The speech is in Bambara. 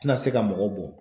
Tɛna se ka mɔgɔ bɔ.